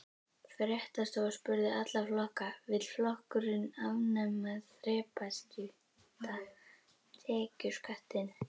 Fréttastofa spurði alla flokka: Vill flokkurinn afnema þrepaskipta tekjuskattinn?